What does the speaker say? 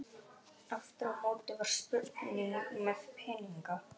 Aftur á móti var spurning með peningana.